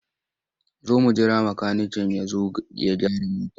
Za mu jira makaniken ya zo ya gyara motar.